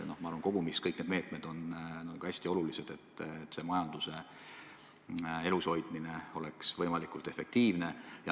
Ma arvan, et kogumis on kõik need meetmed hästi olulised, selleks et majanduse elushoidmine oleks võimalikult efektiivne.